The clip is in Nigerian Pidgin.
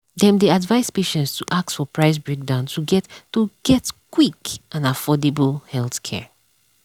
dem dey advise patients to ask for price breakdown to get to get quick and affordable healthcare.